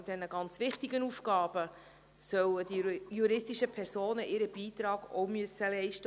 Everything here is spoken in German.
Zu diesen ganz wichtigen Aufgaben sollen die juristischen Personen ebenfalls ihren Beitrag leisten müssen.